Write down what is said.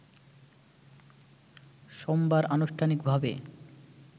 সোমবার আনুষ্ঠানিকভাবে